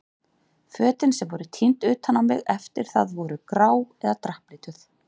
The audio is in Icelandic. Fötin sem voru tínd utan á mig eftir það voru grá eða drapplituð.